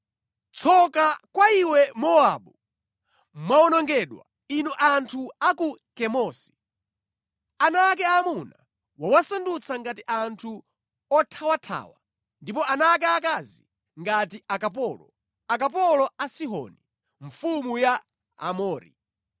Tsoka kwa iwe Mowabu! Mwawonongedwa inu anthu a ku Kemosi! Ana ake aamuna wawasandutsa ngati anthu othawathawa ndipo ana ake aakazi ngati akapolo, akapolo a Sihoni, mfumu ya Aamori.